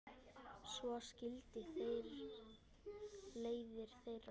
Svo skildi leiðir þeirra.